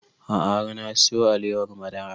A'a har na siyo alewar madara